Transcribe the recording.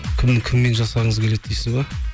кіммен жасағыңыз келеді дейсіз бе